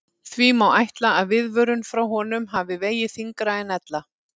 Því má ætla að viðvörun frá honum hafi vegið þyngra en ella.